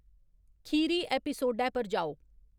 खीरी ऐपिसोडै पर जाओ